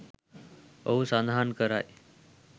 ඔහු සඳහන් කරයි